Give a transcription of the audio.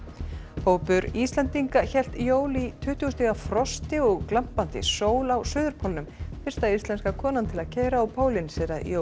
hópur Íslendinga hélt jól í tuttugu stiga frosti og glampandi sól á suðurpólnum fyrsta íslenska konan til að keyra á pólinn segir að jólin